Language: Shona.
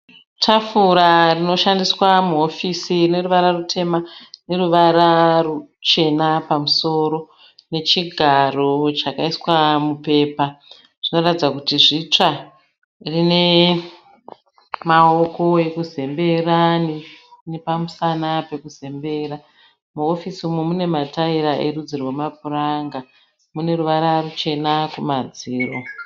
Tafura rinoshandisa muhofisi rine ruvara rutema neruvara ruchena pamusoro nechigaro chakaiswa mupepa. Zvinoratidza kuti zvitsva. Rine maoko ekuzembera nepamusana pekuzembera. Muhofisi umu mune matayira erudzi rwemapuranga. Mune ruvara ruchena kumadziro.